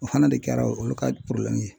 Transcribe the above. O fana de kɛra olu ka ye .